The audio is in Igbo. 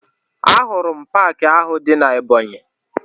Ahụrụ m paakị ahụ dị na Ebọnyị